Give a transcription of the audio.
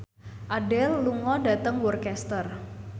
Adele lunga dhateng Worcester